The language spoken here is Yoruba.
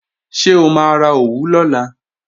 Ṣé o máa ra òwú lọ́la?